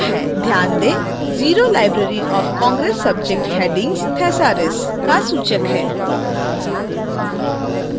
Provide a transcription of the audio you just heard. ध्यान दें 0 library of congress subject headings thesaurus का सूचक है